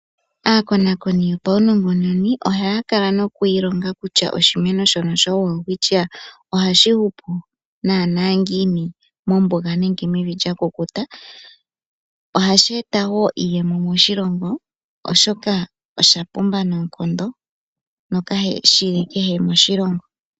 Aakonakoni yo paunongononi ohaya kala nokuilonga kutya oshimeno showelwistchia ohashi hupu naana ngiini mombuga nenge mevi lya kukuta. Ohashi eta woo iiyemo moshilongo, oshoka osha pumba noonkondo no kashi li kehe moshilongo.